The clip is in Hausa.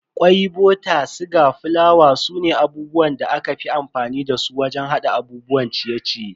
Kwai, bota, siga, fulawa sune abubuwan da aka fi amfani dasu wajen hada abubuwan ciye-ciye.